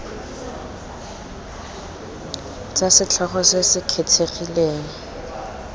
tsa setlhogo se se kgethegileng